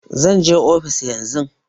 Zan je ofis yan zun